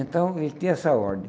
Então, ele tinha essa ordem.